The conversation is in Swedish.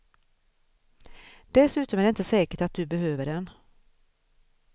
Dessutom är det inte säkert att du behöver den.